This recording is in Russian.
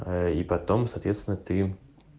ээ и потом соответственно три